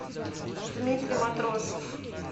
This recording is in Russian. дмитрий матросов